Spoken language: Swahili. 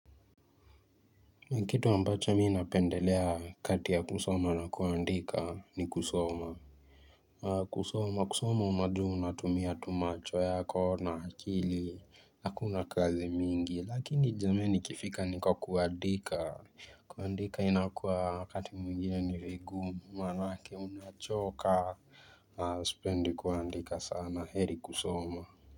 Ni kitu ambacho mimi napendelea kati ya kusoma na kuandika ni kusoma kusoma kusoma imagine unatumia tu macho yako na akili na hakuna kazi mingi lakini jameni ikifika nikwa kuandika kuandika inakuwa wakati mwingine ni vingumu manake unachoka sipendi kuandika sana heri kusoma.